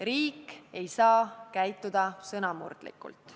Riik ei saa käituda sõnamurdlikult.